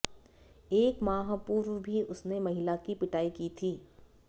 एक माह पूर्व भी उसने महिला की पिटाई की थी